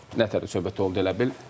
Nətər söhbət oldu elə bil.